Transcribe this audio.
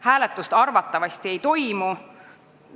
Hääletust arvatavasti ei toimu.